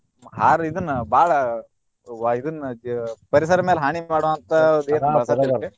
ಇದನ್ನ ಬಾಳ ವ~ ಇದನ್ನ ಪರಿಸರ ಮ್ಯಾಲ್ ಹಾನಿ ಮಾಡೊ ಅಂತಾ .